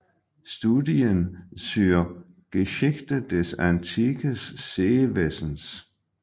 Studien zur Geschichte des Antikes Seewesens